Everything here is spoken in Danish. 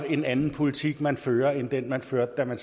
en anden politik man fører end den man førte da man